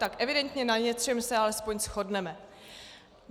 Tak evidentně na něčem se alespoň shodneme.